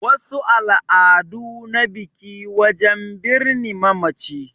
Wasu al'adu na biki wajen birni mamaci